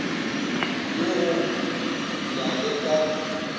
ye go ya le ka